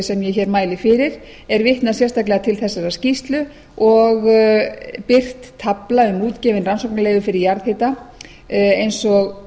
sem ég hér mæli fyrir er vitnað sérstaklega til þessarar skýrslu og birt tafla um útgefin rannsóknarleyfi fyrir jarðhita eins og